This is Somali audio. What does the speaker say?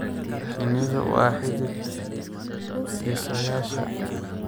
Shinnidu waa xidid dhisayaasha.